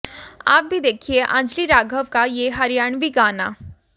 आप भी देखिए अंजली राघव का ये हरियाणवी गाना